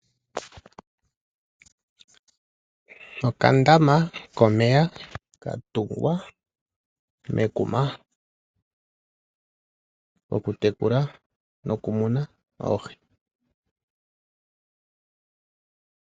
Okandama komeya ka tungwa mekuma ko kutekula nokumuna oohi.